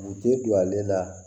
U tɛ don ale la